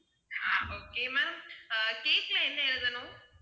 okay ma'am ah cake ல என்ன எழுதணும்